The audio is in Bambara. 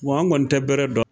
Wa an kɔni tɛ bɛrɛ dɔn